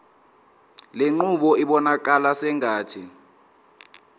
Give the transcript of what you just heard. lenqubo ibonakala sengathi